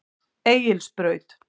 Egilsbraut